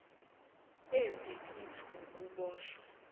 embi kithi wukuboshwa